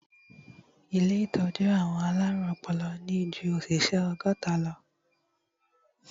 Ilé ìtọ́jú àwọn alárùn ọpọlọ ní ju òṣìṣẹ́ ọgọ́ta lọ.